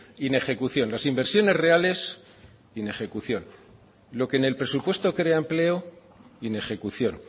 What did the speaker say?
inejecución las inversiones reales inejecución lo que en el presupuesto crea empleo inejecución